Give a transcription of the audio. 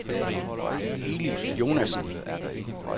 Eli Jonassen